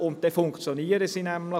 Dann funktionieren sie auch.